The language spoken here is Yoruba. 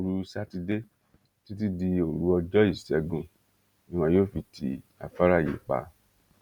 òru sátidé títí di òru ọjọ ìṣègùn ni wọn yóò fi ti afárá yìí pa